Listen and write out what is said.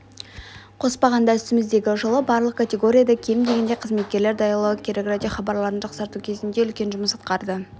қоспағанда үстіміздегі жылы барлық категорияда кем дегенде қызметкер даярлау керек радиохабарларын жақсарту жөнінде үлкен жұмыс атқарды